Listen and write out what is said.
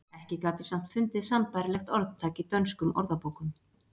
Ekki gat ég samt fundið sambærilegt orðtak í dönskum orðabókum.